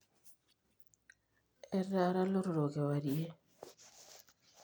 etaara ilotorrok kewarie